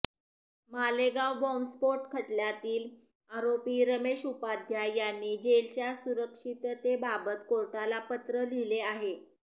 मालेगाव बॉम्बस्फोट खटल्यातील आरोपी रमेश उपाध्याय यांनी जेलच्या सुरक्षिततेबाबत कोर्टाला पत्र लिहिले आहे